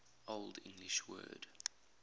old english word